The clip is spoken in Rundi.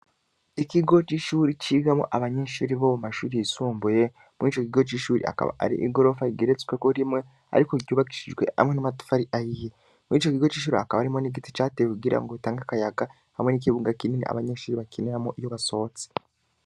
Ikigo c’ishuri cigamo abanyenshuri bo mu mashuri yisumbuye mur' co gigo c'ishuri akaba ari igorofa rigeretsweko rimwe, ariko ryubakishijwe hamwe n'amatufa ari ahiye muri ico gigo c'ishuri akaba arimwo n'igiti cateye kugira ngo utange akayaga hamwe n'ikibunga kinini abanyenshuri bakiniramo iyo basotse.